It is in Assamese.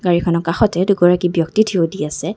গাড়ীখনৰ কাষতে দুগৰাকী ব্যক্তি থিয় দি আছে।